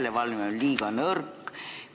Kas järelevalve on liiga nõrk?